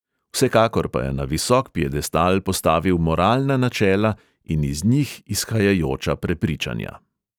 Vsekakor pa je na visok piedestal postavil moralna načela in iz njih izhajajoča prepričanja.